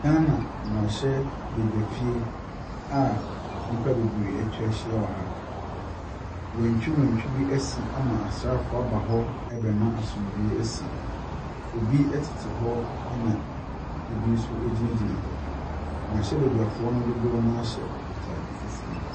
Ghana mmarahyɛbedwafie a nnipa bebree atwa ahyia ha. Wantwiwantwi bi asi ama asrafoɔ aba hɔ rebɛma asomdwee asi. Ebi tete hɔ na ebi gyinagyina hɔ. Mmrahyɛbadwafo dodoɔ no ara hyɛ ataade fufuo.